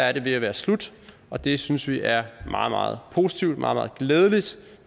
er det ved at være slut og det synes vi er meget meget positivt meget meget glædeligt